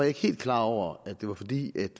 ikke helt klar over at det var fordi